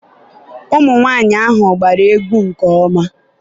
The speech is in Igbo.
ụmụnwaanyị ahụ gbara egwu nke ọma